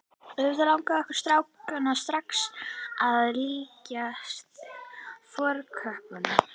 Auðvitað langaði okkur strákana strax að líkjast fornköppunum.